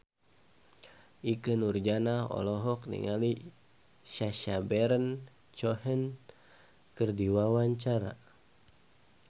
Ikke Nurjanah olohok ningali Sacha Baron Cohen keur diwawancara